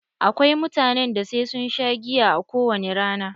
Akwai mutanen da sai sun sha giya a kowani rana.